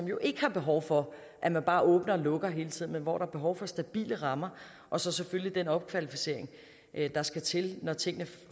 jo ikke er behov for at man bare åbner og lukker hele tiden men hvor der er behov for stabile rammer og så selvfølgelig den opkvalificering der skal til når tingene